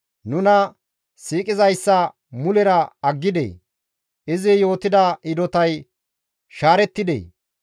Nuna siiqizayssa mulera aggidee? izi yootida hidotay shaarettidee?